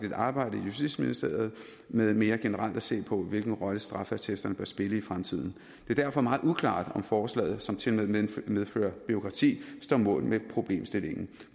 et arbejde i justitsministeriet med mere generelt at se på hvilken rolle straffeattesterne bør spille i fremtiden det er derfor meget uklart om forslaget som tilmed medfører bureaukrati står mål med problemstillingen